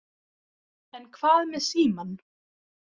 En hvað með símann?